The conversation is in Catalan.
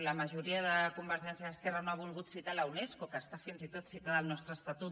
la majoria de convergència i esquerra no ha volgut citar la unesco que està fins i tot citada al nostre estatut